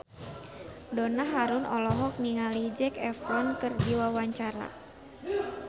Donna Harun olohok ningali Zac Efron keur diwawancara